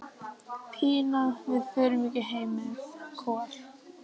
Pína, við förum ekki heim með Kol.